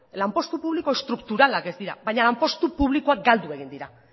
lanpostu publiko estrukturalak ez dira baina lanpostu publikoak galdu egin dira